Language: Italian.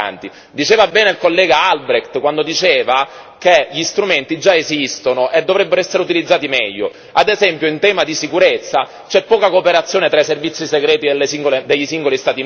Ha ragione il collega Albrecht nell'affermare che gli strumenti già esistono e dovrebbero essere utilizzati meglio. Ad esempio, in tema di sicurezza c'è poca cooperazione tra i servizi segreti dei singoli Stati membri.